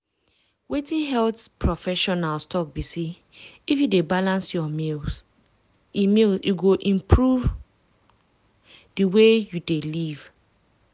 wetin health professionals talk be say if you dey balance your meals e meals e go improve di way you dey live.